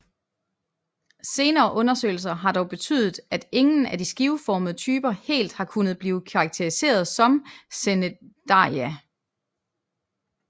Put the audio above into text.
Senere undersøgelser har dog betydet at ingen af de skiveformede typer helt har kunnet blive karakteriseret som cnidaria